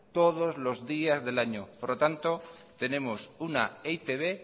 todos los días del año por lo tanto tenemos una e i te be